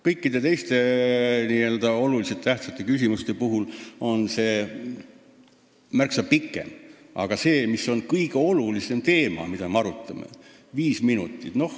Kõikide teiste olulise tähtsusega riiklike küsimuste puhul on see aeg olnud märksa pikem, aga kõige olulisemat teemat me arutame viis minutit.